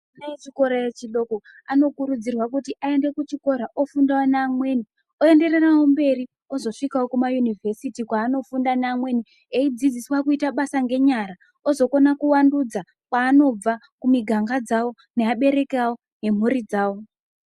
Ana echikora echidoko anokurudzirwa kuti aende kuchikoro ofunda ngeamweni eendererawo mberi ozosvikawo kumayunivhesiti kwaanofunda ngeamweni eidzudziswa kuita basa ngenyara ozokona kuvandudza kwaanobva kumiganga dzavo ngevaberiki vavo ngemhuri dzavo .